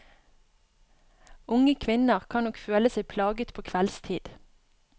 Unge kvinner kan nok føle seg plaget på kveldstid.